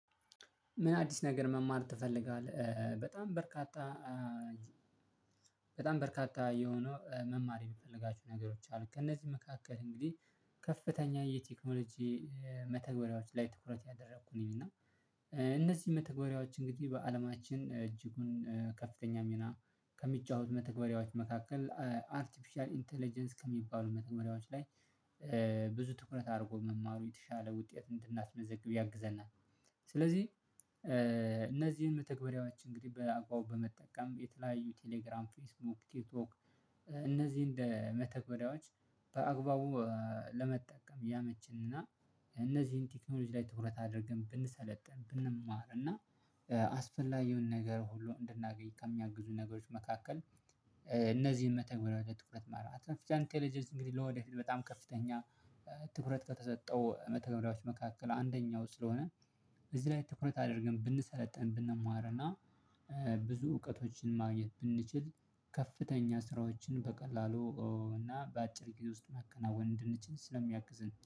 ምን አዲስ ነገር መማር ትፈልጋለህ? በጣም በርካታ በጣም በርካታ የሆነው መማር የምፈልጋቸው ነገሮች አሉ። ከእነዚህ መካከል እንግዲህ ከፍተኛ የቴክኖሎጂ መተግበሪያዎች ላይ ትኩረት ያደረኩ ነኝ። እና እነዚህ መተግበሪያዎች እንግዲህ በአለማችን እጅጉን ከፍተኛ ሚና ከሚጫወት መተግበሪያዎች መካከል አርቲፊሻል ኢንተለጀንስ ከሚባሉ መተግበሪያዎች ላይ ብዙ ትኩረት አርጎ መማሩ የተሻለ ውጤት እንድናስመዘግብ ያግዘናል። ስለዚህ እነዚህን መተግበሪያዎች እንግዲህ በአግባቡ በመጠቀም የተለያዩ ቴሌግራም ፌስቡክ ቲትቶክ እነዚህን መተግበሪያዎች በአግባቡ ለመጠቀም ያመቸንና እነዚህን ቴክኖሎጂ ላይ ትኩረት አድርገን ብንሰለጥን። ብንማር እና አስፈላጊውን ነገር ሁሉ እንድናገኝ ከሚያግዙ ነገሮች መካከል እነዚህን መተግበሪያዎች ትኩረት ማርግ አርትፍሽል እንተለጀንስ እንግዲህ ለወደፊት በጣም ከፍተኛ ትኩረት ከተሰጠው መተገብሪያዎች መካከል አንደኛው ስለሆነ እዚህ ላይ ትኩረት አድርገን ብንሰለጥን ብንማር እና ብዙ እውቀቶችን ማግኘት ብንችል ከፍተኛ ስራዎችን በቀላሉ እና በአጭር ጊዜ ውስጥ ማከናወን እንድንችል ስለሚያግዝን